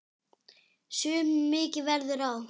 Sumum mikið verður á.